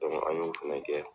an y'u fɛnɛ kɛ.